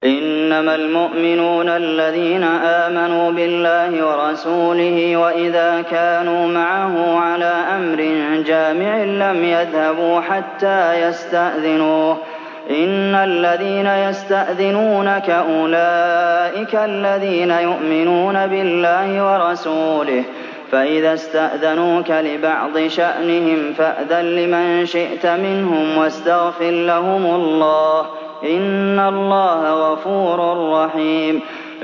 إِنَّمَا الْمُؤْمِنُونَ الَّذِينَ آمَنُوا بِاللَّهِ وَرَسُولِهِ وَإِذَا كَانُوا مَعَهُ عَلَىٰ أَمْرٍ جَامِعٍ لَّمْ يَذْهَبُوا حَتَّىٰ يَسْتَأْذِنُوهُ ۚ إِنَّ الَّذِينَ يَسْتَأْذِنُونَكَ أُولَٰئِكَ الَّذِينَ يُؤْمِنُونَ بِاللَّهِ وَرَسُولِهِ ۚ فَإِذَا اسْتَأْذَنُوكَ لِبَعْضِ شَأْنِهِمْ فَأْذَن لِّمَن شِئْتَ مِنْهُمْ وَاسْتَغْفِرْ لَهُمُ اللَّهَ ۚ إِنَّ اللَّهَ غَفُورٌ رَّحِيمٌ